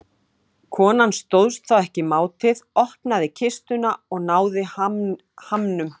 Konan stóðst þá ekki mátið, opnaði kistuna og náði hamnum.